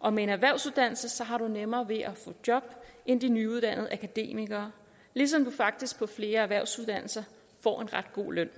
og med en erhvervsuddannelse har du nemmere ved at få job end de nyuddannede akademikere ligesom du faktisk på flere erhvervsuddannelser får en ret god løn